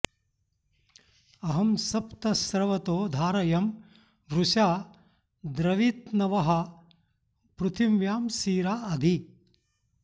अहं सप्त स्रवतो धारयं वृषा द्रवित्न्वः पृथिव्यां सीरा अधि